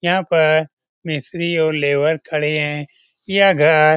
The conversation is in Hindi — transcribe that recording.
यहां पर मिस्त्री और लेबर खड़े हैं यह घर --